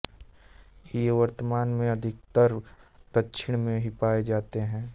ये वर्तमान में अधिकतर दक्षिण में ही पाए जाते हैं